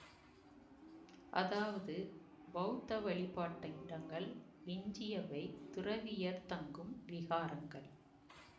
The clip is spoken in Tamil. அதாவது பௌத்த வழிபாட்டிடங்கள் எஞ்சியவை துறவியர் தங்கும் விகாரங்கள்